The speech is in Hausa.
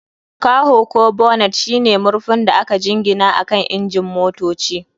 Kaho ko bonnet shine murfin da aka jingina akan injin motocin.